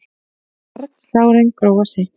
Kalsárin gróa seint.